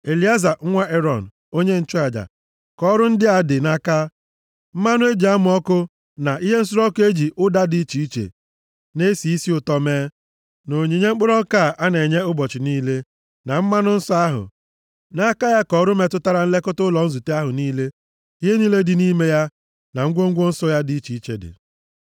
“Elieza nwa Erọn, onye nchụaja, ka ọrụ ndị a dị nʼaka: mmanụ e ji amụ ọkụ, na ihe nsure ọkụ e ji ụda dị iche iche na-esi isi ụtọ mee, na onyinye mkpụrụ ọka a na-enye ụbọchị niile, na mmanụ nsọ ahụ. Nʼaka ya ka ọrụ metụtara nlekọta ụlọ nzute ahụ niile, ihe niile dị nʼime ya na ngwongwo nsọ ya dị iche iche dị.”